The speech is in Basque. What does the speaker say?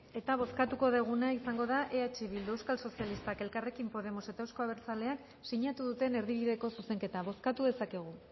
eta bozkatuko duguna izango da eh bildu euskal sozialistak elkarrrekin podemos eta euzko abertzaleak sinatu duten erdibideko zuzenketa bozkatu dezakegu